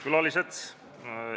Head külalised!